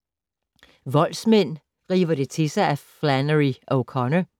Voldsmænd river det til sig af Flannery O’Connor